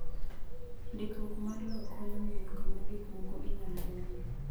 Ndikruok mar lowo konyo ng’eyo kama gik moko inyal gerie.